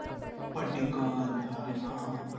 पड्डीकल अरे हां